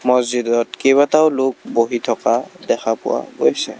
মছজিদত কেইটাবাতাও লোক বহি থকা দেখা পোৱা গৈছে।